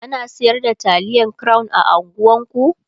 ana sayar da taliyan crown a unguwan ku?